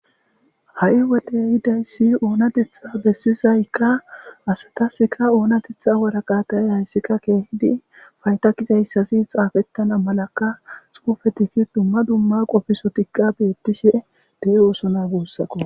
Haii woddey ehidaysi onateththa bessizayka asatasika onateththa waraqata hayssika kehidi fsyda gizaysazi xafetana malaka xufetika dumma dumma qofisotika bettishe de7ossona gussako.